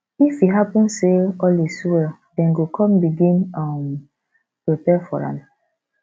if e happun say all is well dem go con begin um prepare for am